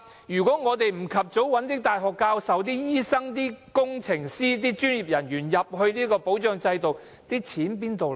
如果我們不及早把大學教授、醫生、工程師、專業人員等加入這個保障制度，錢從何來？